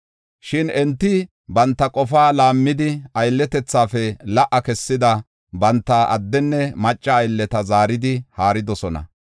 Shin enti banta qofaa laammidi, aylletethafe la77a kessida banta addenne macca aylleta zaaridi haaridosona.